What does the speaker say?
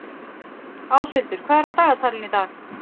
Áshildur, hvað er á dagatalinu í dag?